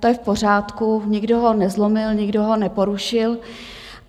To je v pořádku, nikdo ho nezlomil, nikdo ho neporušil.